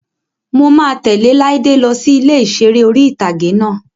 Mo máa tẹ̀lẹ́ Láídé lọ sí ilé ìseré orí-ìtágé náà